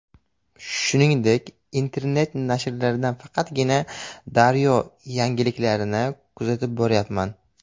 Shuningdek, internet nashrlardan faqatgina ‘Daryo‘ yangiliklarini kuzatib boryapman.